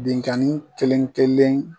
Binkani kelen kelen